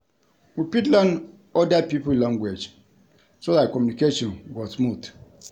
We fit learn oda pipo language so dat communication go smooth